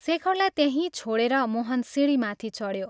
शेखरलाई त्यहीं छोडेर मोहन सिंढीमाथि चढ्यो।